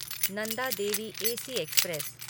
Nanda Devi AC express